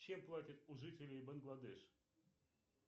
чем платят у жителей бангладеш